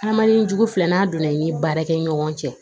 Hadamaden jugu filɛ n'a donna i ni baarakɛ ɲɔgɔn cɛ